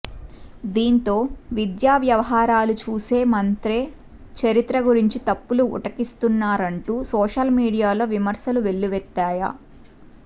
దీంతో దేశంలో విద్యా వ్యవహారాలు చూసే మంత్రే చరిత్ర గురించి తప్పులు ఉటంకిస్తున్నారంటూ సోషల్ మీడియాలో విమర్శలు వెల్లువెత్తాయ